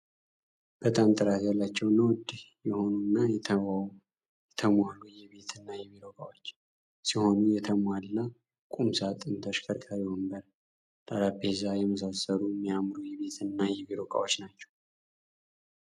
በጣም ጥራት ያላቸውና ውድ የሆኑና የተሙዋሉ የቤትና የቢሮ እቃዎች ሲሆኑ የተሙዋላ ቁም ሳጥን ፥ተሽከርካሪ ወንበር ፥ጠረፔዛ የመሳሰሉ እሚያምሩ የቤት ና የቢሮ ዕቃዎች ናቸው።